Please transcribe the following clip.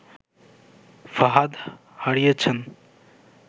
ফাহাদ হারিয়েছেন